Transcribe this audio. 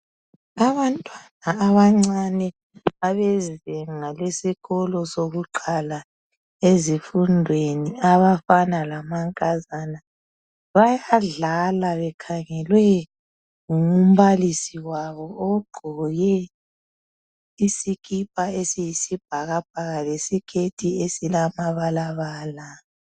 Abantwana abancane abezinga lesikolo sokuqala ezifundweni abafana lamankazana bayadlala bekhangelwe ngumbalisi wabo ogqoke isikipa esiyibhakabhaka lesiketi esilamabalabala.